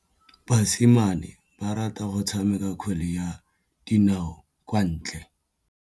Basimane ba rata go tshameka kgwele ya dinaô kwa ntle.